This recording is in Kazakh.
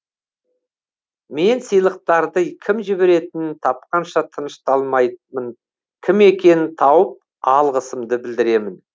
мен сыйлықтарды кім жіберетінін тапқанша тынышталмаймын кім екенін тауып алғысымды білдіремін